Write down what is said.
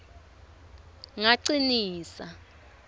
ngacinisa